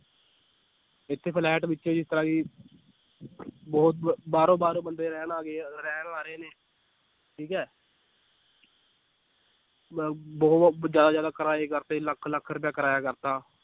ਇੱਥੇ ਫਲੈਟ ਵਿੱਚ ਬਹੁਤ ਬਾਹਰੋਂ ਬਾਹਰੋਂ ਬੰਦੇ ਰਹਿਣ ਆ ਗਏ ਆ, ਰਹਿਣ ਆ ਰਹੇ ਨੇ ਠੀਕ ਹੈ ਬ ਬਹੁਤ ਜ਼ਿਆਦਾ ਜ਼ਿਆਦਾ ਕਿਰਾਏ ਕਰ ਦਿੱਤੇ ਲੱਖ ਲੱਖ ਰੁਪਇਆ ਕਿਰਾਇਆ ਕਰ ਦਿੱਤਾ